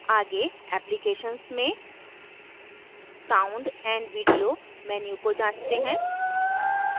आगे applications में sound & video menu को जांचते हैं